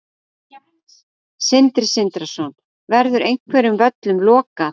Sindri Sindrason: Verður einhverjum völlum lokað?